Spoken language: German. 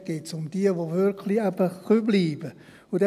Dort geht es eben wirklich um jene, welche bleiben .